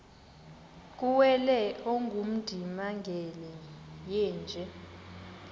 kuwele ongundimangele yeenje